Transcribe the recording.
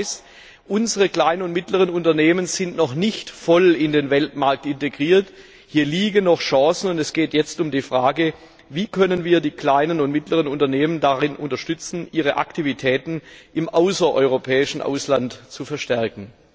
Das heißt, unsere kleinen und mittleren Unternehmen sind noch nicht voll in den Weltmarkt integriert. Hier liegen noch Chancen, und es geht jetzt um die Frage, wie wir die kleinen und mittleren Unternehmen darin unterstützen können, ihre Aktivitäten im außereuropäischen Ausland zu verstärken.